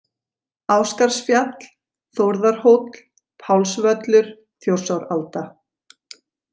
Ásgarðsfjall, Þórðarhóll, Pálsvöllur, Þjórsáralda